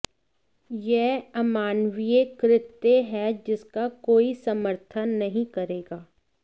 यह अमानवीय कृत्य है जिसका कोई समर्थन नहीं करेगा